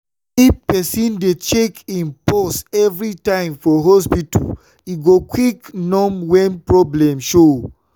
if person dey check im pause evrytime for hospita e go quick nom wen problem show.